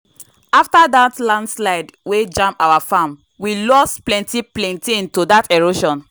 after dat landslide wey jam our farm we loss plenty plaintain to that erosion.